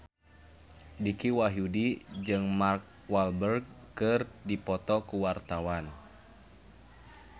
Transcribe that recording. Dicky Wahyudi jeung Mark Walberg keur dipoto ku wartawan